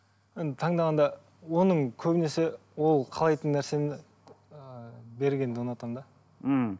енді таңдағанда оның көбінесе ол қалайтын нәрсені ііі бергенді ұнатамын да ммм